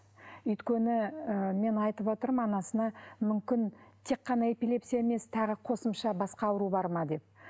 өйткені ы мен айтып отырмын анасына мүмкін тек қана эпилепсия емес тағы қосымша басқа ауру бар ма деп